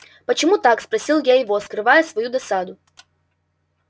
почему так спросил я его скрывая свою досаду